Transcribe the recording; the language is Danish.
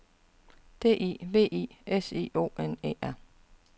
D I V I S I O N E R